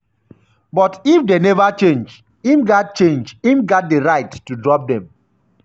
but if dey neva change im gat change im gat di right to drop dem.